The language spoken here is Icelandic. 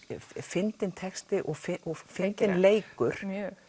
fyndinn texti og fyndinn leikur